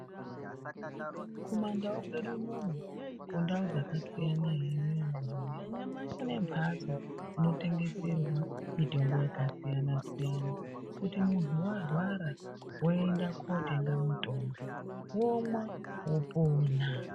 Kumandau kwedu unono kundau dzakasiyana ere antuwe kune mbatso inotengeserwa mitombo yakasiyana siyana kuti muntu warwara woende kotenga mitombo womwa wopona.